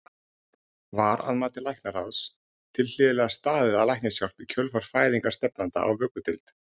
Var að mati læknaráðs tilhlýðilega staðið að læknishjálp í kjölfar fæðingar stefnanda á vökudeild?